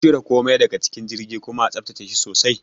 Cire komai daga cikin jirgin kuma a tsaftace shi sosai.